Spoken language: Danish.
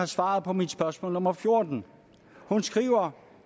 svarer på mit spørgsmål nummer fjortende hun skriver